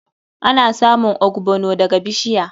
Ana samun ogbono daga bishiya.